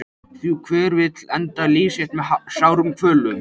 Því hver vill enda líf sitt með sárum kvölum?